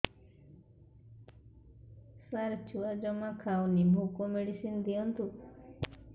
ସାର ଛୁଆ ଜମା ଖାଉନି ଭୋକ ମେଡିସିନ ଦିଅନ୍ତୁ